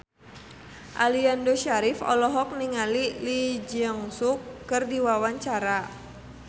Aliando Syarif olohok ningali Lee Jeong Suk keur diwawancara